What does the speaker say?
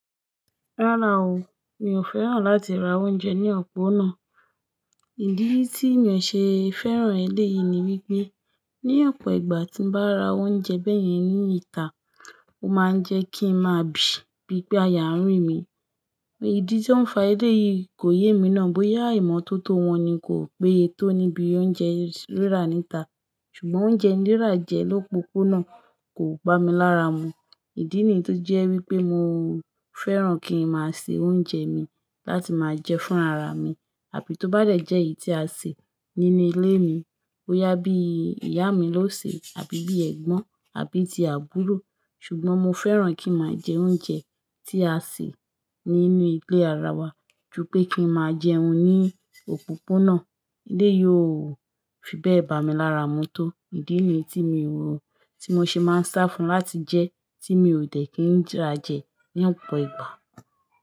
Rárá o, mi ò fẹ́ràn láti ra oúnjẹ ní ọ̀pọ̀ náà. Ìdí tí mi ò ṣe fẹ́ràn eléyìí ni wípé ní ọ̀pọ̀ ìgbà tí ń bá ra oúnjẹ bẹ́yẹn ní ìta, ó máa ń jẹ́ kí ń máa bì, bíi pé àyà ń rìn mi. Ìdí tí ó ń fa eléyìí kò yé emi ná bóyá ìmọ́tótó wọn ni kò péye tó níbi oúnjẹ rírà ní ìta ṣùgbọ́n oúnjẹ rírà jẹ lópopona náà kò bá mi lára mu. Ìdí nì tó jẹ́ wípé mo fẹ́ràn kí ń máa se oúnjẹ mi láti máa jẹ fúnra ra mi, àbí tó bá dẹ̀ jẹ́ èyí tí a sè nínú ilé mi, bóyá bí ìyá mi ló sè, àbí bí ẹ̀gbọ́n, àbí ti àbúrò. Ṣùgbọ́n mo fẹ́ràn kí ń máa jẹ oúnjẹ tí a sè nínú ilé ara wa ju pé kí ń máa jẹun ní òpópónà, eléyìí ò fi bẹ́ẹ̀ bà mí lára mu tó. Idí nìyí tí mi o ṣe máa ń sá fún láti jẹ, tí mi ò dẹ̀ kí ń rà jẹ ní ọ̀pọ̀ ìgbà.